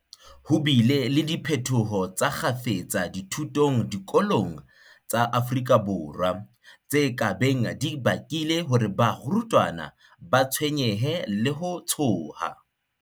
Ho bile le diphetoho tsa kgafetsa dithutong diko long tsa Afrika Borwa, tse ka beng di bakile hore barutwana ba tshwenyehe le ho tshoha.